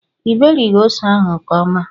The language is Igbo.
i berighi ose ahu nke ọma